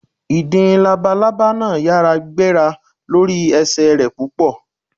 Ìdin labalábà náà yára gbéra lórí ẹsẹ̀ rẹ̀ púpọ̀.